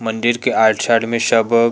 मंदिर के आइट साइड में सब